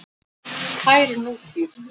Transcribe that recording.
Tær nútíð.